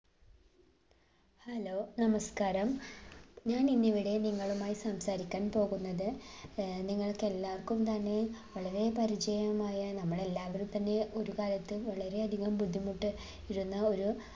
hello നമസ്കാരം ഞാനിന്നിവിടെ നിങ്ങളുമായി സംസാരിക്കാൻ പോകുന്നത് ഏർ നിങ്ങൾക്കെല്ലാർക്കും തന്നെ വളരെ പരിചയമായ നമ്മളെല്ലാവരും തന്നെ ഒരു കാലത്ത് വളരേയധികം ബുദ്ധിമുട്ടി യിരുന്ന ഒരു